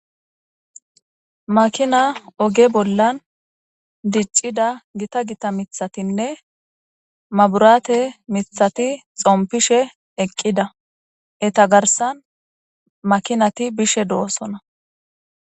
Makina oge bollan diccida gita gita mithatinne maburaate mithati xompishe eqqida eta garsan makinati bishe doosona